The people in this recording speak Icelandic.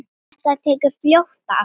Þetta tekur fljótt af.